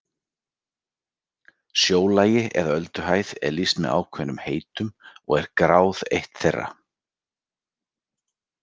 Sjólagi eða ölduhæð er lýst með ákveðnum heitum og er gráð eitt þeirra.